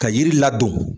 Ka yiri ladon